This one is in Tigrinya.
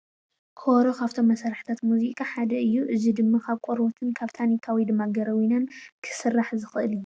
ከበሮ ካብቶም መሳርሕታት ሙዚቓ ሓደ እዩ። እዚ ድማ ካብ ቆርበትን ታኒካን ወይድማ ጎረቤናን ክስራሕ ዝክእል፡፡